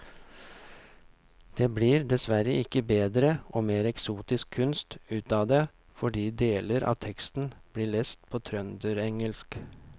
Det blir dessverre ikke bedre og mer eksotisk kunst ut av det fordi deler av teksten blir lest på trønderengelsk.